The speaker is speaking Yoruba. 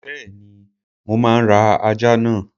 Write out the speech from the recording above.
Bẹ́ẹ̀ni, mo máa ra ajá náà.